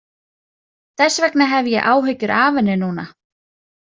Þess vegna hef ég áhyggjur af henni núna.